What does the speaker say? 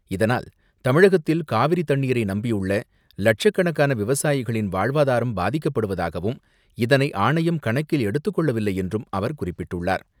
இதனால், தமிழகத்தில் காவிரி தண்ணீரை நம்பியுள்ள லட்சக்கணக்கான விவசாயிகளின் வாழ்வாதாரம் பாதிக்கப்படுவதாகவும், இதனை ஆணையம் கணக்கில் எடுத்துக்கொள்ளவில்லை என்றும் அவர் குறிப்பிட்டுள்ளார்.